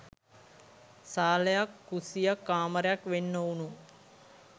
සාලයක් කුස්සියක් කාමරයක් වෙන් ‍නොවුනු